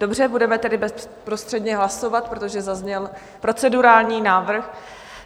Dobře, budeme tedy bezprostředně hlasovat, protože zazněl procedurální návrh.